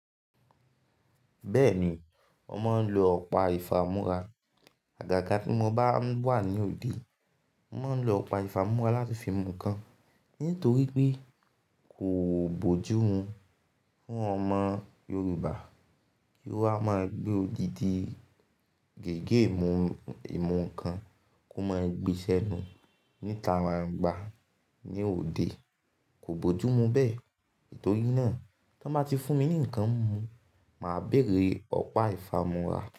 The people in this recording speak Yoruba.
Bẹ́ẹ̀ni, mo máa ń lo ọ̀pá ìfámúra. Àgàgà tí mo bá wà ní òde, mo máa ń lo ọ̀pá ìfámúra láti fi mú nǹkan, nítorí pé kò bójú mu fún ọmọ Yorùbá kí ó wá máa gbé odidi gígé ìmú-ìmù ǹkan kó máa gbe sẹ́nu níta gbáńgbà ní òde. Kò bójú mu bẹ́ẹ̀. Nitori náà, tí wọ́n bá ti fún mi ní ǹkan mimu, màá béèrè ọ̀pá ìfámúra.